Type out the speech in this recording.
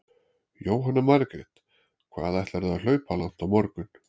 Jóhanna Margrét: Hvað ætlarðu að hlaupa langt á morgun?